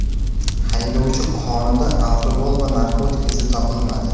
Haydovchi qonida alkogol va narkotiklar izi topilmadi.